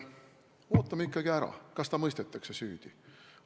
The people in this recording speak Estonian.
Ootame ikkagi ära, kas ta mõistetakse süüdi.